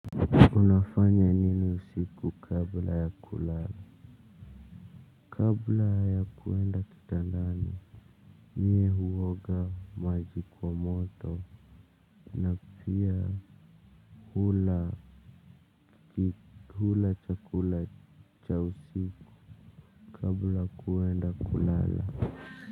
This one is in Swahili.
Unafanya nini usiku kabla ya kulala kabla ya kuenda kitandani mie huoga maji kwa moto na pia hula chakula cha usiku kabla kuenda kulala.